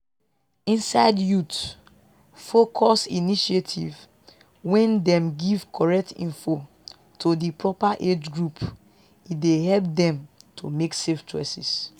inside youth-focused initiatives wen dem give correct info to di proper age group e dey help dem to make safe choices